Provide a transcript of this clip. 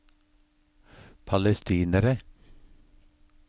palestinere